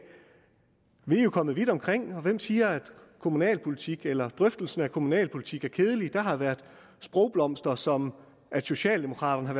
vi er jo kommet vidt omkring og hvem siger at kommunalpolitik eller drøftelsen af kommunalpolitik er kedeligt der har været sprogblomster som at socialdemokraterne har